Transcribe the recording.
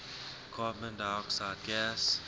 carbon dioxide gas